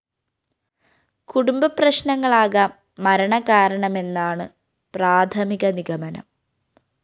കുടുംബപ്രശ്‌നങ്ങളാകാം മരണകാരണമെന്നാണു പ്രാഥമിക നിഗമനം